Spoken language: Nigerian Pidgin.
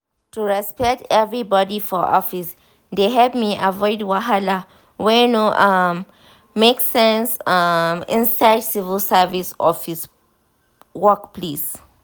to respect everybody for office dey help me avoid wahala wey no um make sense um inside civil service work place. um